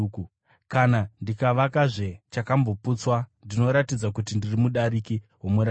Kana ndikavakazve chandakamboputsa, ndinoratidza kuti ndiri mudariki womurayiro.